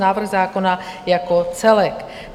návrh zákona jako celek.